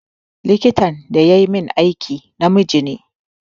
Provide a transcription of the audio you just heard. Likitan da yayi min aiki namiji ne.